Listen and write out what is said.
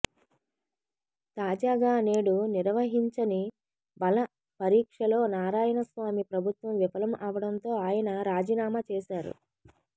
తాజాగా నేడు నిర్వహించని బల పరీక్ష లో నారాయణ స్వామి ప్రభుత్వం విఫలం అవడంతో ఆయన రాజీనామా చేశారు